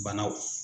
Banaw